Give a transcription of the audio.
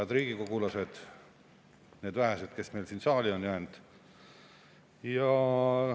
Head riigikogulased, need vähesed, kes meil siia saali on jäänud!